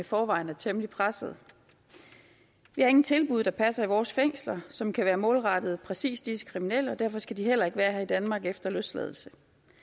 i forvejen er temmelig pressede vi har ingen tilbud der passer i vores fængsler som kan være målrettet præcis disse kriminelle og derfor skal de heller ikke være her i danmark efter løsladelse